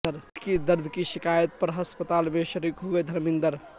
پیٹ میں درد کی شکایت پر ہسپتال میں شریک ہوئے دھرمیندر